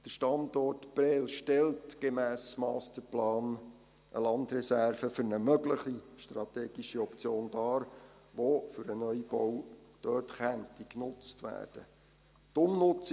Der Standort Prêles stellt gemäss Masterplan eine Landreserve für eine mögliche strategische Option dar, die für einen Neubau genutzt werden könnte.